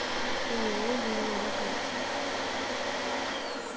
ооо линия на карте